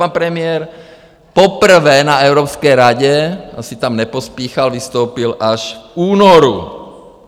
Pan premiér poprvé na Evropské radě, asi tam nepospíchal, vystoupil až v únoru.